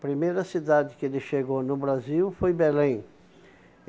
primeira cidade que ele chegou no Brasil foi Belém.